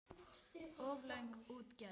Of löng útgerð.